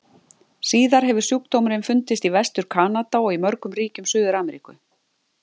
Síðar hefur sjúkdómurinn fundist í Vestur-Kanada og í mörgum ríkjum Suður-Ameríku.